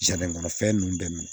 kɔnɔ fɛn nunnu bɛ